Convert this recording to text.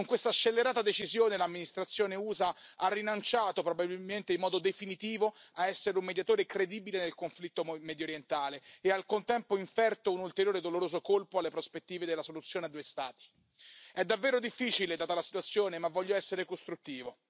Con questa scellerata decisione l'amministrazione USA ha rinunciato, probabilmente in modo definitivo, a essere un mediatore credibile nel conflitto mediorientale e, al contempo, ha inferto un ulteriore doloroso colpo alle prospettive della soluzione a due Stati. È davvero difficile, data la situazione, ma voglio essere costruttivo.